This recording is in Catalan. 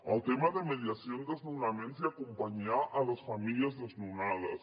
el tema de mediació en desnonaments i acompanyar les famílies desnonades